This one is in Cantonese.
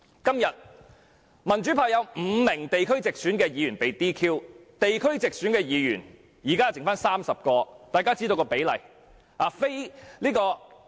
現時民主派有5名地區直選議員被 "DQ"， 因而只餘下30名地區直選議員。